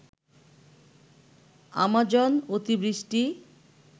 Amazon অতিবৃষ্টি